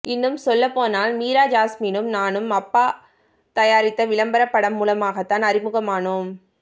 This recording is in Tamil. இன்னும் சொல்லப்போனால் மீரா ஜாஸ்மினும் நானும் அப்பா தயாரித்த விளம்பரப் படம் மூலமாகத்தான் அறிமுகமானோம்